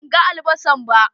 Ban gan albasan ba.